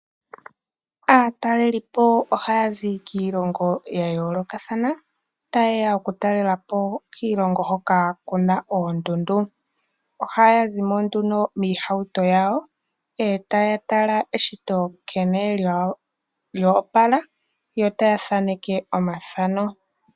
Aatalelipo ohazi kiilongo yayoolokathana tayeya okutalelapo kiilongo hoka kuna oondundu, ohaya zimo nduno moohawuto dhawo ndele tayatala eshito nkene lya opala yo taya thaneke omathano.